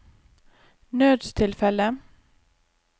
nødstilfelle